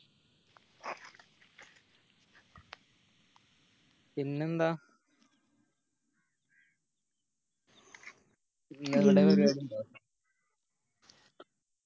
പിന്നെന്ത